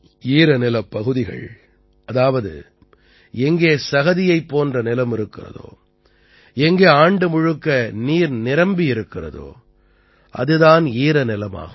ஈரநிலப் பகுதிகள் அதாவது எங்கே சகதியைப் போன்ற நிலம் இருக்கிறதோ எங்கே ஆண்டுமுழுக்க நீர் நிரம்பி இருக்கிறதோ அது தான் ஈரநிலமாகும்